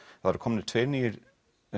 það eru komnir tveir nýir